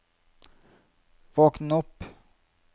våkn opp